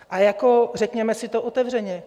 Ale jako řekněme si to otevřeně.